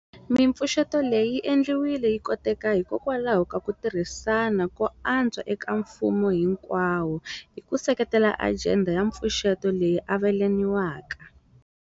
Mipfuxeto leyi yi endliwile yi koteka hikokwalaho ka ku tirhisana ko antswa eka mfumo hinkwawo hi ku seketela ajenda ya mpfuxeto leyi avelaniwaka.